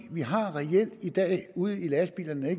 vi har reelt i dag ude i lastbilerne der er